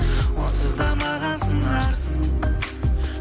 онсыз да маған сыңарсың